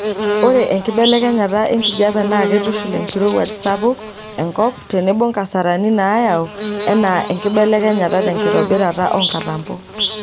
Ore enkibelekenyata enkijiepe naa keitushul enkirowuaj sapuk enkop tenebo nkasarani naayau enaa enkibelekenyata tenkitobirata oonkatampo.